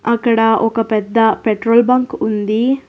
అక్కడ ఒక పెద్ద పెట్రోల్ బంక్ ఉంది.